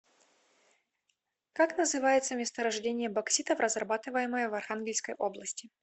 как называется месторождение бокситов разрабатываемое в архангельской области